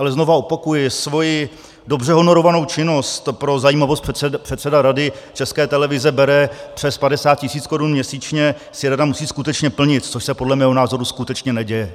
Ale znovu opakuji, svoji dobře honorovanou činnost - pro zajímavost, předseda Rady České televize bere přes 50 tisíc korun měsíčně - si rada musí skutečně plnit, což se podle mého názoru skutečně neděje.